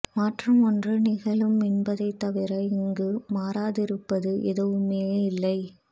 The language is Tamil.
மாற்றம் ஒன்று நிகழும் என்பதைத் தவிர இங்கு மாறாதிருப்பது எதுவுமேயில்லை